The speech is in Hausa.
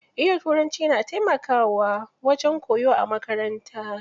Iya Turanci na taimakawa wajen koyo a makaranta.